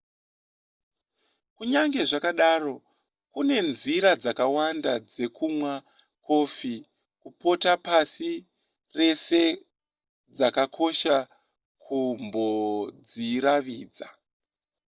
kunyange zvakadaro kune nzira dzakawanda dzekumwa kofi kupota pasi rese dzakakosha kumbodziravidza